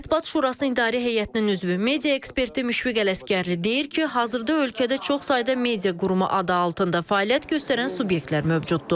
Mətbuat Şurası İdarə Heyətinin üzvü, media eksperti Müşfiq Ələsgərli deyir ki, hazırda ölkədə çox sayda media qurumu adı altında fəaliyyət göstərən subyektlər mövcuddur.